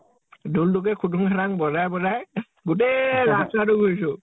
ঢোল্তোকে খুতুনং খাতানং নিছিনা কে বজাই বজাই গোতেই ৰাস্তাতে ঘুৰিছো।